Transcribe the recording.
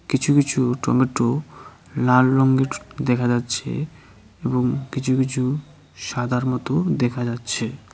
কিছু কিছু টমেটো লাল রঙের দেখা যাচ্ছে এবং কিছু কিছু সাদার মতো দেখা যাচ্ছে।